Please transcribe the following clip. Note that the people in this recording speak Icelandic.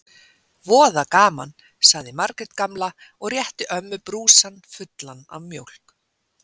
Voða gaman sagði Margrét gamla og rétti ömmu brúsann fullan af mjólk.